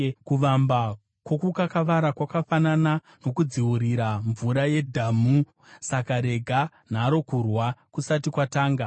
Kuvamba kwokukakavara kwakafanana nokudziurira mvura yedhamu; saka rega nharo kurwa kusati kwatanga.